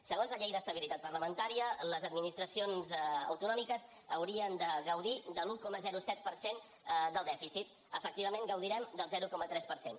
segons la llei d’estabilitat parlamentària les administracions autonòmiques haurien de gaudir de l’un coma set per cent del dèficit efectivament gaudirem del zero coma tres per cent